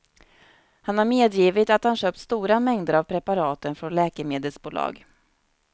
Han har medgivit att han köpt stora mängder av preparaten från läkemedelsbolag.